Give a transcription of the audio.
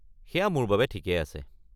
সেইয়া মোৰ বাবে ঠিকেই আছে।